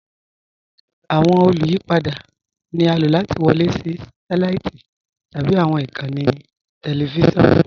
Awọn olùyìpada ni a ló láti wọlé sí sátẹláìtì tabi awọn ikànńí tẹlifisiọnu.